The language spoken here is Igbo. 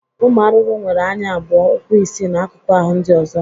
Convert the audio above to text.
Ụmụ arụrụ nwere anya abụọ, ụkwụ isii na akụkụ ahụ ndị ọzọ.